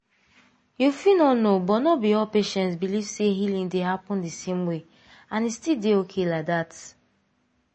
you fit no know but no be all patients believe say healing dey happen the same way — and e still dey okay like that